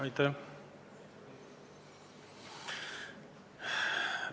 Aitäh!